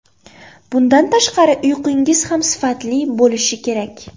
Bundan tashqari uyqungiz ham sifatli bo‘lishi kerak.